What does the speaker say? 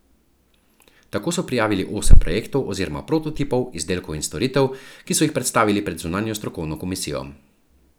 Tako so prijavili osem projektov oziroma prototipov izdelkov in storitev, ki so jih predstavili pred zunanjo strokovno komisijo.